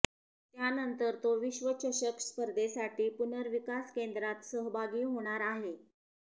त्यानंतर तो विश्वचषक स्पर्धेसाठी पुर्नविकास केंद्रात सहभागी होणार आहे